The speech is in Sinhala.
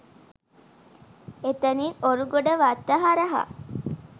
එතැනින් ඔරුගොඩවත්ත හරහා